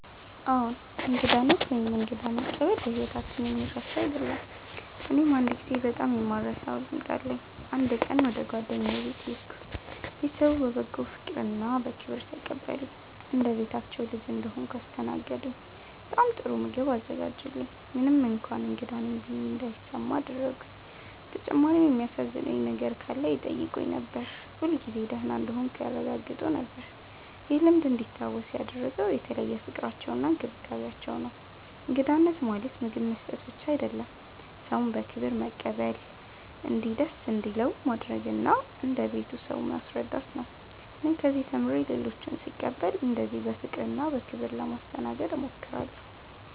አዎን፣ እንግዳነት ወይም እንግዳ መቀበል በሕይወታችን የሚረሳ አይደለም። እኔም አንድ ጊዜ በጣም የማልረሳውን ልምድ አለኝ። አንድ ቀን ወደ ጓደኛዬ ቤት ሄድሁ። ቤተሰቡ በበጎ ፍቅርና በክብር ተቀበሉኝ። እንደ ቤታቸው ልጅ እንደሆንሁ አስተናገዱኝ፤ በጣም ጥሩ ምግብ አዘጋጁልኝ፣ ምንም እንኳን እንግዳ ነኝ ብዬ እንዳይሰማ አደረጉኝ። በተጨማሪም የሚያሳዝነኝ ነገር ካለ ይጠይቁኝ ነበር፣ ሁልጊዜ ደህና እንደሆንሁ ያረጋግጡ ነበር። ይህ ልምድ እንዲታወስ ያደረገው የተለየው ፍቅራቸውና እንክብካቤያቸው ነው። እንግዳነት ማለት ምግብ መስጠት ብቻ አይደለም፤ ሰውን በክብር መቀበል፣ እንዲደስ እንዲለው ማድረግ እና እንደ ቤቱ ሰው ማስረዳት ነው። እኔም ከዚህ ተምሬ ሌሎችን ስቀበል እንደዚህ በፍቅርና በክብር ለማስተናገድ እሞክራለሁ።